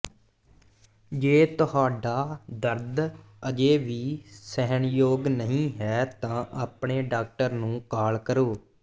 ਜੇ ਤੁਹਾਡਾ ਦਰਦ ਅਜੇ ਵੀ ਸਹਿਣਯੋਗ ਨਹੀਂ ਹੈ ਤਾਂ ਆਪਣੇ ਡਾਕਟਰ ਨੂੰ ਕਾਲ ਕਰੋ